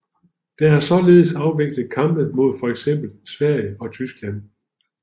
Der er således afviklet kampe mod fx Sverige og Tyskland